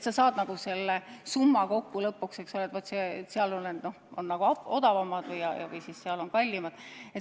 Sa saad lõpuks kokku summa, eks ole, et vaat seal on ravimid odavamad ja seal on kallimad.